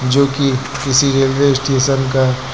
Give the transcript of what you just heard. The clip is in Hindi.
जो की किसी रेलवे स्टेशन का--